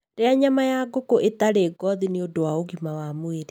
Rĩa nyama ya ngũkũ ĩtarĩ ngothi nĩ ũndũ wa ũgima wa mwĩrĩ.